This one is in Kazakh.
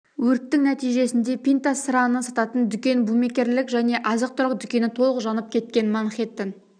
өрттің нәтижесінде пинта сыраны сататын дүкен букмекерлік және азық-түлік дүкені толық жанып кеткен манхеттен